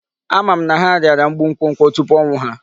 Ama m na ha rịara mgbu nkwokwo tupu ọnwụ ha.